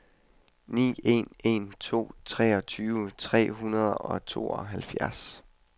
ni en en to treogtyve tre hundrede og tooghalvfjerds